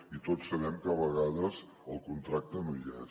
i tots sabem que a vegades el contracte no hi és